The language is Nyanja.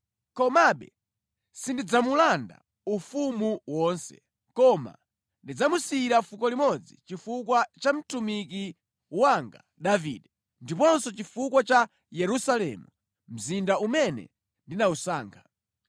Komabe sindidzamulanda ufumu wonse, koma ndidzamusiyira fuko limodzi chifukwa cha mtumiki wanga Davide ndiponso chifukwa cha Yerusalemu, mzinda umene ndinawusankha.”